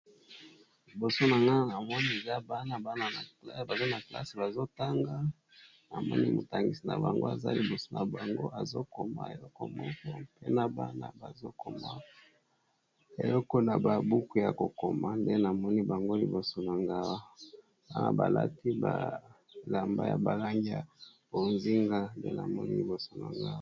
Liboso na nga namoni eza bana bana baza na classe bazotanga, namoni molakisi na bango aza liboso na bango azokoma eleko moko mpe na bana bazokoma eleko na babuku ya kokoma nde namoni bango liboso nanga. Awa wana balati bilamba ya balangi ya bozenga nde namoni liboso nanga awa.